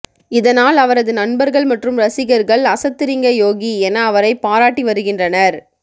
இதனால் அவரது நண்பர்கள் மற்றும் ரசிகர்கள் அசத்துறீங்க யோகி என அவரைப் பாராட்டி வருகின்றனர்